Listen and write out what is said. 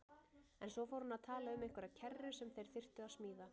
En svo fór hann að tala um einhverja kerru sem þeir þyrftu að smíða.